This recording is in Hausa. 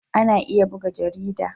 Ana iya buga jarida.